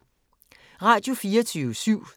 Radio24syv